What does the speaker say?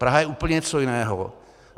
Praha je úplně něco jiného.